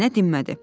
Nənə dinmədi.